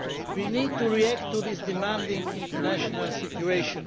We need to react to this demanding international situation.